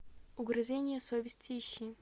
угрызения совести ищи